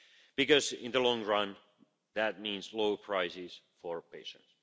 Because in the long run that means lower prices for patients.